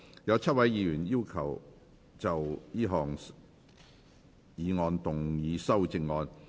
有7位議員要就這項議案動議修正案。